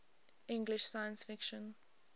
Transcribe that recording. english science fiction